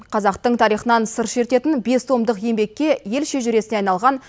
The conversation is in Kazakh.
қазақтың тарихынан сыр шертетін бес томдық еңбекке ел шежіресіне айналған